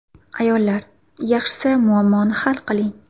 Ayollar, yaxshisi muammoni hal qiling.